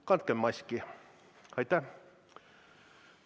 Kandkem maski!